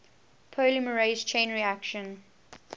polymerase chain reaction